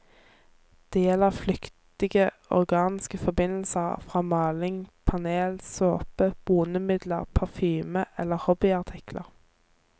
Det gjelder flyktige organiske forbindelser fra maling, panel, såpe, bonemidler, parfyme eller hobbyartikler.